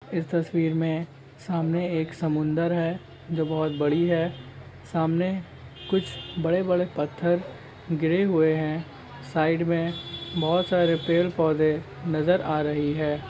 इस तस्वीर में सामने एक समुंदर है जो बहुत बड़ी है सामने कुछ बड़े - बड़े पत्थर गिरे हुए है साइड में बहुत सारे पेड़ पौधे नजर आ रहे है।